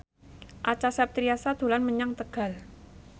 Acha Septriasa dolan menyang Tegal